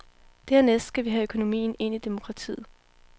Dernæst skal vi have økonomien ind i demokratiet.